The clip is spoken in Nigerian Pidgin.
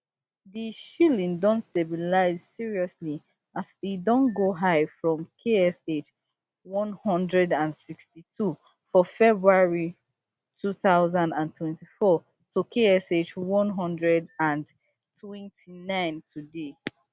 di shilling don stabilize seriously as e don go high from ksh one hundred and sixty-two for february two thousand and twenty-four to ksh one hundred and twenty-nine today